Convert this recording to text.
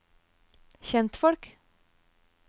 kjentfolk